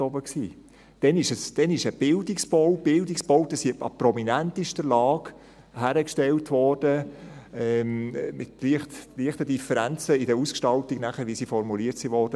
Damals wurden Bildungsbauten an prominentester Lage hingestellt, mit leichten Differenzen in der Ausgestaltung, wie sie nachher architektonisch formuliert wurden.